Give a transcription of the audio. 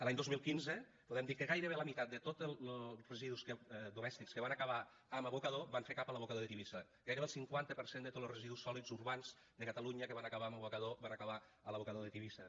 l’any dos mil quinze podem dir que gairebé la meitat de tots los residus domèstics que van acabar en abocador van fer cap a l’abocador de tivissa gairebé el cinquanta per cent de tots los residus sòlids urbans de catalunya que van acabar en abocador van acabar a l’abocador de tivissa